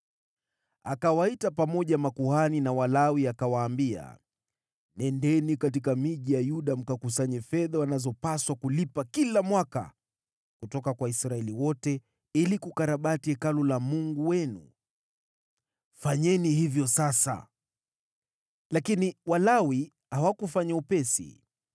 Akawaita pamoja makuhani na Walawi akawaambia, “Nendeni katika miji ya Yuda mkakusanye fedha wanazopaswa kulipa kila mwaka kutoka kwa Israeli wote, ili kukarabati Hekalu la Mungu wenu. Fanyeni hivyo sasa.” Lakini Walawi hawakufanya upesi.